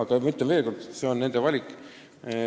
Ma ütlen veel kord, et see on nende valik.